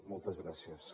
moltes gràcies